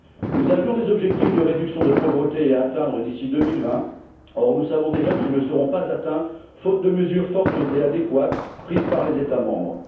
Nous avions des objectifs de réduction de pauvreté à atteindre d'ici 2020, or nous savons déjà qu'ils ne seront pas atteints, faute de mesures fortes et adéquates prises par les États membres.